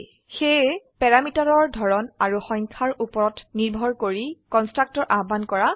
সেয়ে প্যাৰামিটাৰৰ ধৰণ আৰু সংখ্যাৰ উপৰত নিৰ্ভৰ কৰি কন্সট্ৰাকটৰ আহ্বান কৰা হয়